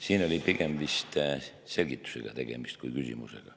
Siin oli pigem vist tegemist selgitusega kui küsimusega.